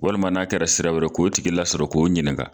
Walima n'a kɛra sira wɛrɛ k'o tigi lasɔrɔ k'o ɲininga